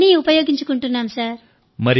అన్నీ ఉపయోగించుకుంటున్నాం సార్